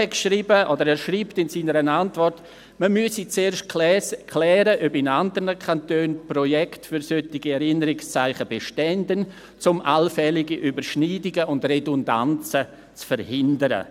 Er schreibt in seiner Antwort, man müsse zuerst klären, ob in anderen Kantonen Projekte für solche Erinnerungszeichen bestehen, um allfällige Überschneidungen und Redundanzen zu verhindern.